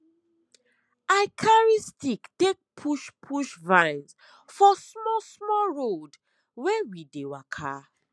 i carry stick take push push vines for small small road wey we dey waka